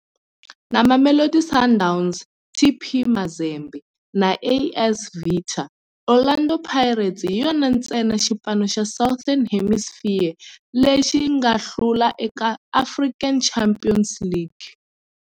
Na Mamelodi Sundowns, TP Mazembe na AS Vita, Orlando Pirates hi yona ntsena xipano xa Southern Hemisphere lexi nga hlula eka African Champions League.